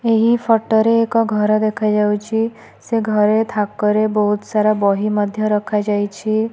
ଏହି ଫଟୋ ରେ ଏକ ଘର ଦେଖାଯାଉଛି ସେ ଘରେ ଥାକରେ ବହୁତ ସାରା ବହି ମଧ୍ୟ ରଖାଯାଇଛି।